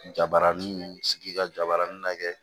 Jabaranin sigi ka jabaranin lajɛ